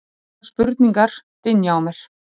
konar spurningar dynja á mér.